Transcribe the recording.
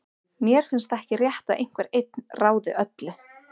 Mér finnst ekki rétt að einhver einn ráði öllu.